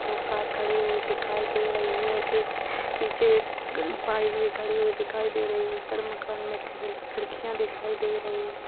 दो कार खड़ी हुई दिखाई दे रही हैं एक नीचे एक बाइक भी खड़ी हुई दिखाई दे रही हैं ऊपर मकान में खिड़ खिड़कियां भी दिखाई दे रही हैं।